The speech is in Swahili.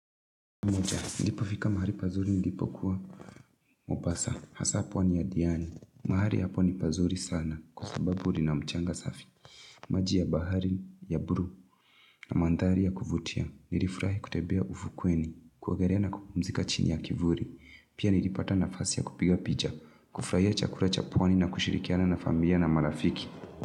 Niliipo fika mahali pazuri ndipo kuwa Mombasa hasa pwani ya diani mahari hapo ni pazuri sana Kwa sababuri lina mchanga safi maji ya bahari ya bue na mandari ya kuvutia Nilifurahi kutebea ufukweni kuogelea na kupumzika chini ya kivuli Pia nilipata nafasi ya kupiga pija kufurahia chakula cha pwani na kushirikiana na familia na marafiki.